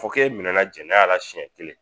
Fo k'e minɛna jɛnɛya la siɲɛ kelen